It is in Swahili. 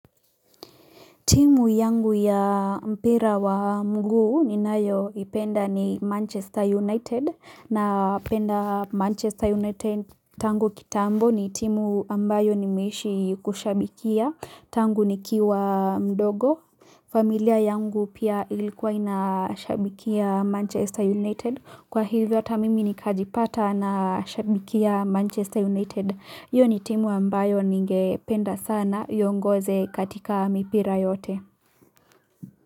Timu yangu ya mpira wa mguu ni nayo ipenda ni Manchester United na penda Manchester United tangu kitambo ni timu ambayo nimeishi kushabikia. Tangu ni kiwa mdogo. Familia yangu pia ilikuwa inashabikia Manchester United. Kwa hivyo hatamimi nikajipata na shabikia Manchester United. Hio ni timu ambayo ningependa sana iongoze katika mipira yote.